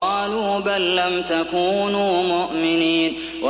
قَالُوا بَل لَّمْ تَكُونُوا مُؤْمِنِينَ